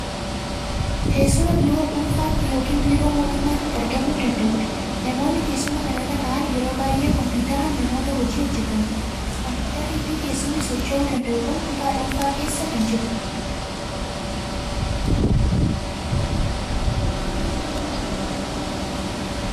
Teessuma biiroo dhuunfaatti yookiin biiroo mootummaatti argamuu danda'udha. Namoonni teessuma kana irra taa'an yeroo baay'ee kompiitaraan namoota hojii hojjetanidha. Kompiitarrii fi teessumni socho'uu danda'u kun kutaa dhuunfaa keessa kan jirudha.